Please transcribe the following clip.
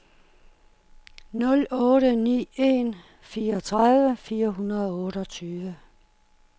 nul otte ni en fireogtredive fire hundrede og otteogtyve